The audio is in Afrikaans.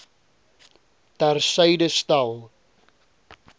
ter syde stel